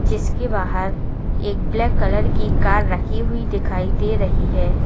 जिसके बाहर एक ब्लैक कलर की कार रखी हुई दिखाई दे रही है।